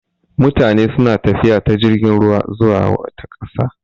Mutane suna tafiya ta jirgin ruwa zuwa wata ƙasa.